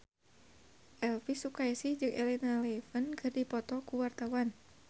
Elvy Sukaesih jeung Elena Levon keur dipoto ku wartawan